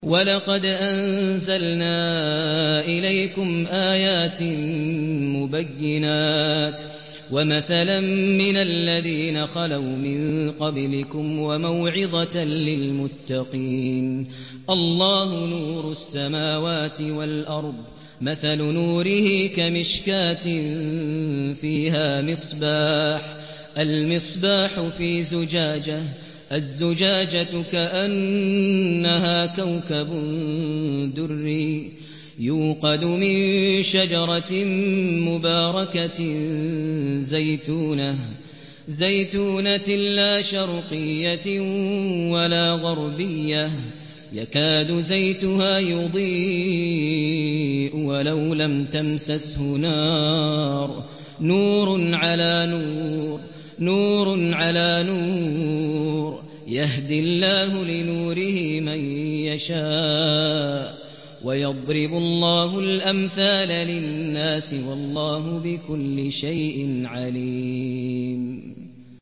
وَلَقَدْ أَنزَلْنَا إِلَيْكُمْ آيَاتٍ مُّبَيِّنَاتٍ وَمَثَلًا مِّنَ الَّذِينَ خَلَوْا مِن قَبْلِكُمْ وَمَوْعِظَةً لِّلْمُتَّقِينَ